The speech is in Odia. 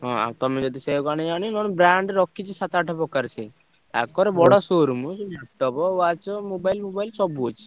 ହଁ ଆଉ ତମେ ଯଦି ସେୟାକୁ ଆଣିବ ଆଣିବ ନହେଲେ brand ରଖିଛି ସାତ ଆଠ ପ୍ରକାର ସେ। ତାଙ୍କର ବଡ show room ଦବ watch mobile mobile shop ଅଛି।